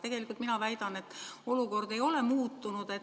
Tegelikult mina väidan, et olukord ei ole muutunud.